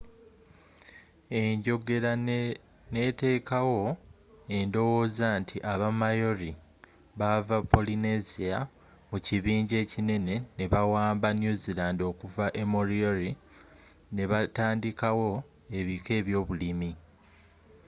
enjogela ne etekawo endowooza nti aba maori baava polynesia mu kibinja ekinene ne bawaamba new zealand okuva e moriori nebatandikawo ebika ebyobulimi